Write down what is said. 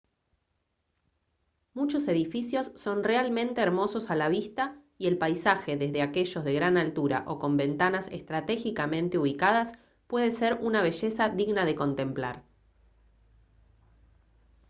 muchos edificios son realmente hermosos a la vista y el paisaje desde aquellos de gran altura o con ventanas estratégicamente ubicadas puede ser una belleza digna de contemplar